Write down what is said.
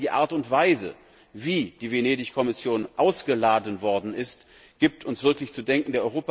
Insbesondere die Art und Weise, wie die Venedig Kommission ausgeladen worden ist, gibt uns wirklich zu denken.